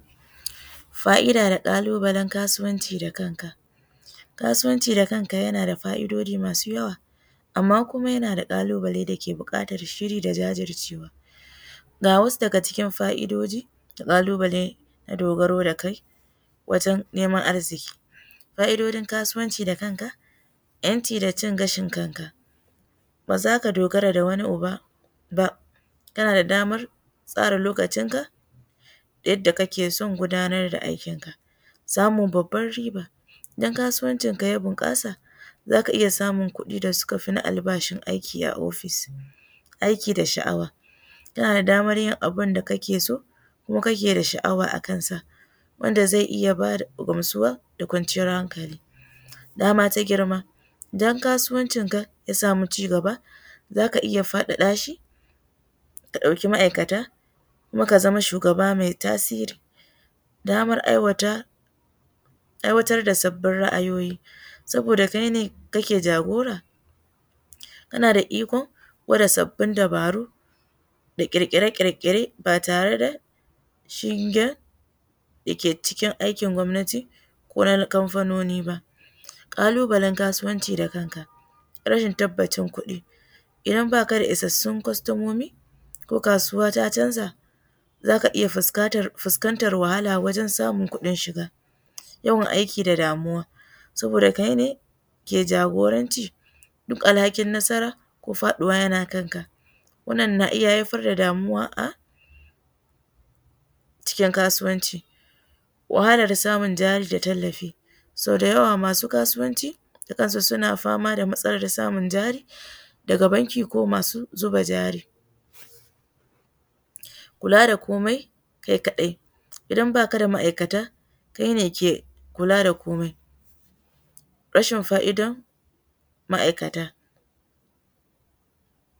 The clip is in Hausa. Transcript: Fa'ida da ƙalubalen kasuwanci da kanka, Kasuwanci da kanka yana da fa'idoji masu yawa. Amma kuma yana da kalubale dake buƙatar shiri da jajircewa, ga wasu daga cikin fa'idojin na ƙalubale na dogaro da kai wajen neman arziki. Fa'idojin da kanka, 'yanci da ci gashin kanka ba za ka dogara ga wani uba ba, kana da damar tsara lokacin ka yadda kake son gudanar da aikinka. Samin babban riba, idan kasuwancinka ya bunkasa za ka iya samun kuɗi da suka fi na albarshi aiki a ofis. Aiki da sha'awa, kana da damar yin abunda kake so kuma kake da sha'awa akan sa wanda zai iya ba da gamsuwa da kwanciyar hankali. Dama ta girma, idsn kasuwancinka ta sama ci gaba za ka iya faɗaɗa shi ka ɗauki ma'aikata kuma ka zama shugaba mai tasiri. Damar aiwatar da sabbin ra'ayoyi. Sabida kai ne kake jagora kana da ikon gwada sabbin dabaru da kirkire-kirkire ba tare da yin aikin gwamnati ko na kamfanoni ba. Ƙalubalen kasuwanci da kanka, rashin tabbacin kuɗi. Idan ba ka da isassun kwastamomi za ka iya fuskantar wahala wajensamun kuɗin Shida. Yawan aiki da damuwa Saboda kai ne ka ke jagoran duk alhakin nasara kk faɗuwa yana kanka cikin kasuwanci wahalar samun bayar da tallafi, sau da yawa masu kasuwanci suna fatama da Matsalar samun jari daga banki ko masu zuba jari. Kuka da komai kai kadai idan ba ka da ma'aikata kai ne ke kila da komai. Rashin fa'idar ma'aikata.